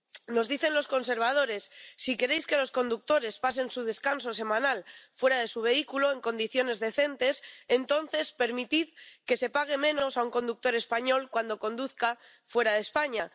Nos dicen los conservadores Si queréis que los conductores pasen su descanso semanal fuera de su vehículo, en condiciones decentes, entonces permitid que se pague menos a un conductor español cuando conduzca fuera de España.